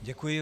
Děkuji.